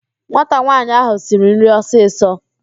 Nwata nwaanyị áhụ̀ siri nri ọsịsọ